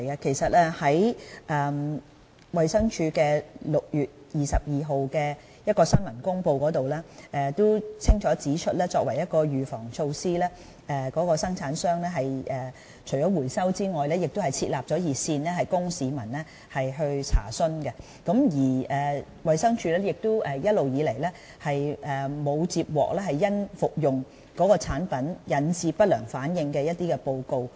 其實，衞生署在6月22日發出的新聞公告中，已經清楚指出作為預防措施，供應商除了進行回收外，亦設立了熱線供市民查詢，而衞生署亦從沒接獲有人因服用該產品而引致不良反應的報告。